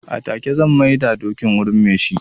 A take zan mai da dokin wurin me shi.